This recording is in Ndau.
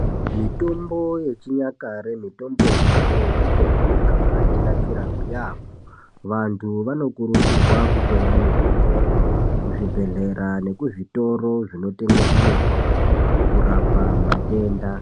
Mitombo yechinyakare mitombo yechibhoi mitombo yakabatinakira yaamho. Vantu vanokurudzirwa kutenga mitomboyo kuzvibhedhlera nekuzvitoro zvinotengesa mitombo kurapa matenda.